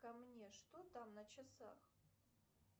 ко мне что там на часах